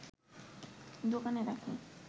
দোকানে রাখি